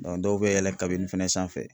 dɔw bɛ yɛlɛn fɛnɛ sanfɛ.